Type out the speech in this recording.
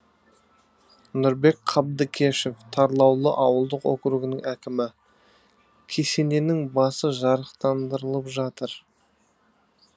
нұрбек қабдыкешов тарлаулы ауылдық округінің әкімі кесененің басы жарықтандырылып жатыр